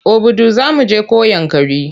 Obudu za mu je ko Yankari?